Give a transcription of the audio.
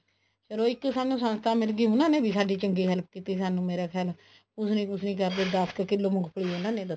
ਚਲੋ ਇੱਕ ਸਾਨੂੰ ਸੰਸਥਾ ਮਿਲਗੀ ਉਹਨਾ ਨੇ ਸਾਡੀ ਚੰਗੀ help ਕੀਤੀ ਸਾਨੂੰ ਮੇਰਾ ਖਿਆਲ ਕੁਸ ਨੀ ਕੁਸ ਨੀ ਕਰਦੇ ਦਸ ਕ ਕਿੱਲੋ ਮੂੰਗਫਲੀ ਉਹਨਾ ਦੇ ਦਿੱਤੀ